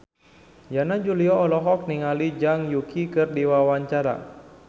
Yana Julio olohok ningali Zhang Yuqi keur diwawancara